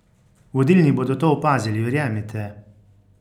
Vodilni bodo to opazili, verjemite!